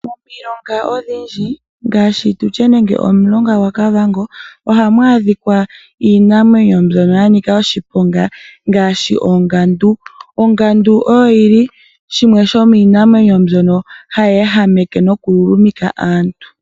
Momilonga odhindji mwa kwatelwa omulonga gwaKavango, ohamu adhika iinamwenyo mbyoka ya nika oshiponga ngaashi ongandu. Ongandu oyo yimwe yomiinamwenyo mbyoka hayi ehameke nokululumika aantu.